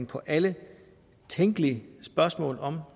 på alle tænkelige spørgsmål om